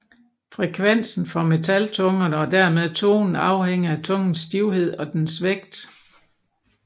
Frekvensen for metaltungerne og dermed tonen afhænger af tungens stivhed og dens vægt